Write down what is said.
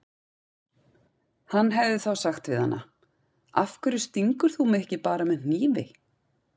Hann hefði þá sagt við hana: Af hverju stingur þú mig ekki bara með hnífi?